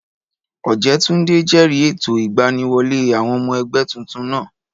Ọ̀jẹ́túndé jẹ̀rìí ètò ìgbaniwọlé àwọn ọmọ ẹgbẹ́ tuntun náà